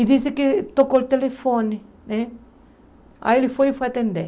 E disse que tocou o telefone né, aí ele foi e foi atender.